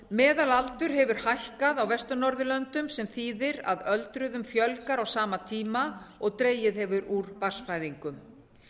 meðalaldur hefur hækkað á vestur norðurlöndum sem þýðir að öldruðum fjölgar á sama tíma og dregið hefur úr barnsfæðingum